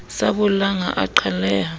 sa bollang ha a qhaleha